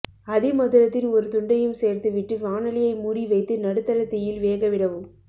அதி மதுரத்தின் ஒரு துண்டையும் சேர்த்து விட்டு வாணலியை மூடி வைத்து நடுத்தர தீயில் வேக விடவும்